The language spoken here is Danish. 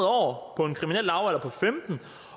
år